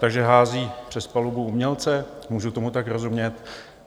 Takže hází přes palubu umělce, můžu tomu tak rozumět?